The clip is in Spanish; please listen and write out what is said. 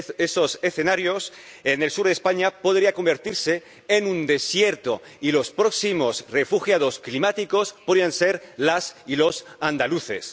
esos escenarios, el sur de España podría convertirse en un desierto y los próximos refugiados climáticos podrían ser las y los andaluces.